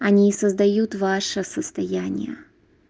они создают ваше состояние